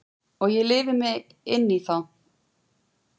Og ég lifi mig inn í þá.